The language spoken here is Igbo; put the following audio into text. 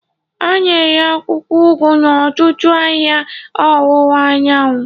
A na-ere akwụkwọ ugu n'ọtụtụ ahịa ọwụwa anyanwụ.